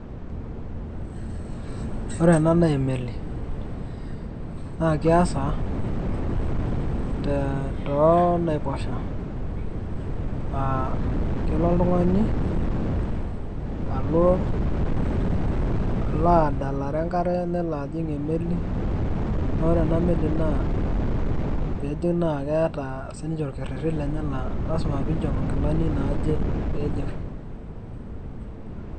Ore ena naa emeli. Na keasa tonaiposha. Ah kelo oltung'ani alo adalare enkare nelo ajing' emeli, na ore ena meli naa pijing' na keeta sininche orkerrerri lenye la lasima piinchop inkilani naaje piijing'.